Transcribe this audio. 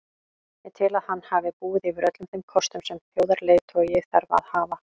Ég tel að hann hafi búið yfir öllum þeim kostum sem þjóðarleiðtogi þarf að hafa.